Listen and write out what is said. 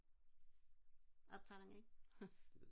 optager den ikke